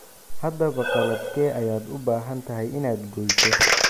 Haddaba qalabkee ayaad u baahan tahay inaad gooyso?